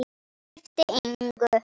Skipti engu.